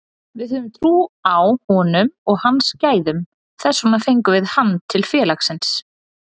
Við höfum trú á honum og hans gæðum, þess vegna fengum við hann til félagsins.